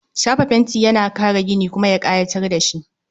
Shafa fenti yana kare gini, kuma ya kayatar da shi